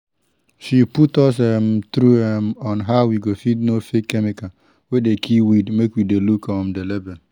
she put us um through um on how we go fit know fake chemical wey dey kill weed make we dey look um the label